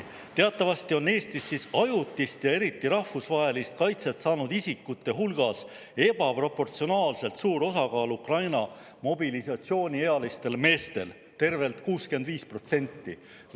Teatavasti on Eestis ajutise ja eriti rahvusvahelise kaitse saanud isikute hulgas mobilisatsiooniealiste Ukraina meeste osakaal ebaproportsionaalselt suur – tervelt 65%.